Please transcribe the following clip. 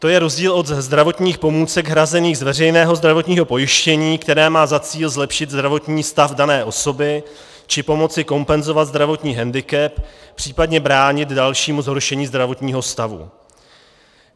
To je rozdíl od zdravotních pomůcek hrazených z veřejného zdravotního pojištění, které má za cíl zlepšit zdravotní stav dané osoby, či pomoci kompenzovat zdravotní hendikep, případně bránit dalšímu zhoršení zdravotního stavu.